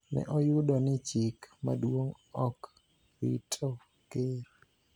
ne oyudo ni chik maduong� ok rito Ker